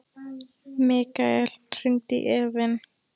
Mikkael, hringdu í Evin.